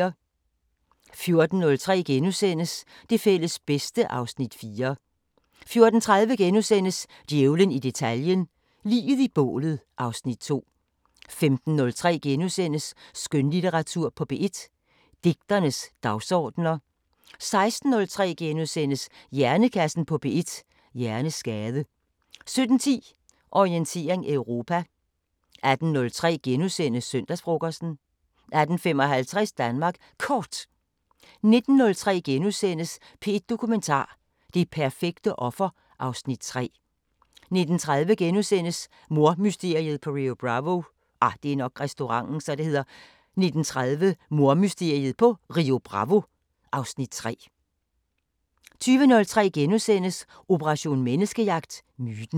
14:03: Det fælles bedste (Afs. 4)* 14:30: Djævlen i detaljen – Liget i bålet (Afs. 2)* 15:03: Skønlitteratur på P1: Digternes dagsordener * 16:03: Hjernekassen på P1: Hjerneskade * 17:10: Orientering Europa 18:03: Søndagsfrokosten * 18:55: Danmark Kort 19:03: P1 Dokumentar: Det perfekte offer (Afs. 3)* 19:30: Mordmysteriet på Rio Bravo (Afs. 3)* 20:03: Operation Menneskejagt: Myten *